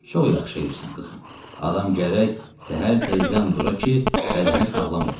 Çox yaxşı eləyirsən qızım, adam gərək səhər tezdən dura ki, bədəni sağlam ola.